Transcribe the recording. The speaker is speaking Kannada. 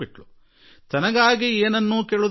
ಅದೂ ತನ್ನ ಸ್ವಂತಕ್ಕಾಗಿ ಏನನ್ನೂ ಬೇಡುವುದಕ್ಕಾಗಿ ಅಲ್ಲ